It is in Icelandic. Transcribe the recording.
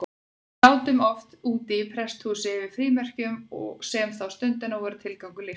Við sátum oft úti í prestshúsi yfir frímerkjum, sem þá stundina voru tilgangur lífsins.